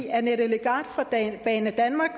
annette legart fra banedanmark